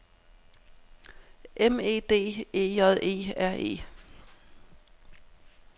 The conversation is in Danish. M E D E J E R E